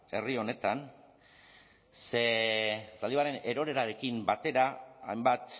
herri honetan ze zaldibarren erorerarekin batera hainbat